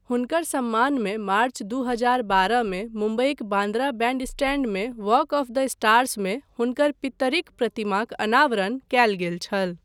हुनकर सम्मानमे मार्च दू हजार बारह मे मुम्बईक बान्द्रा बैंडस्टैंडमे वॉक ऑफ द स्टार्समे हुनकर पित्तरिक प्रतिमाक अनावरण कयल गेल छल।